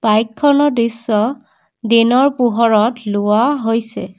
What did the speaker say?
বাইকখনৰ দৃশ্য দিনৰ পোহৰত লোৱা হৈছে।